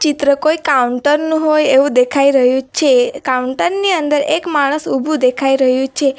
ચિત્ર કોઈ કાઉન્ટર નું હોય એવું દેખાઈ રહ્યું છે કાઉન્ટર ની અંદર એક માણસ ઊભું દેખાઈ રહ્યું છે.